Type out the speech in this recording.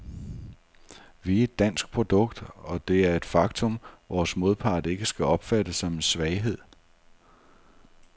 Vi er et dansk produkt, og det er et faktum, vores modpart ikke skal opfatte som en svaghed.